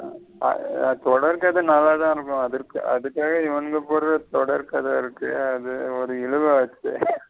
தொடர்கத நல்லதா இருக்கும் அதுக்காக இவனுங்க போடுறது தொடர்கத இருக்கே அது ஒரு இழுவ இருக்கே.